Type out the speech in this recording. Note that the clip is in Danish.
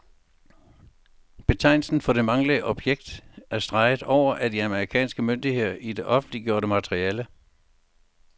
Betegnelsen for det manglende objekt er streget over af de amerikanske myndigheder i det offentliggjorte materiale.